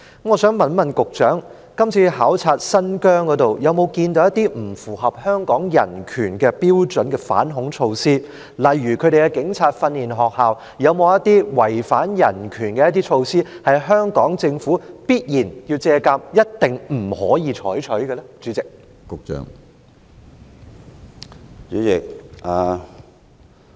我想問局長，這次到新疆考察有否看到一些不符合香港人權標準的反恐措施，例如新疆的警察訓練學校有否一些違反人權的措施，是香港政府要借鑒，一定不能夠採取的呢？